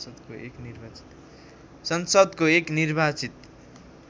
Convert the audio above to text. संसदको एक निर्वाचित